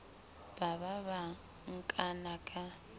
ba ba ba nkana ka